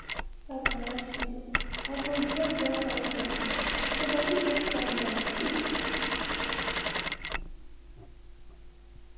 once my sleep pattern wan shift i go jam blackout curtain so body fit calm down quick.